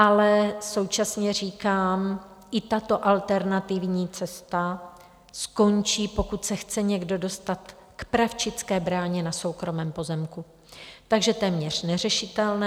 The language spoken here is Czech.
Ale současně říkám, i tato alternativní cesta skončí, pokud se chce někdo dostat k Pravčické bráně na soukromém pozemku, takže téměř neřešitelné.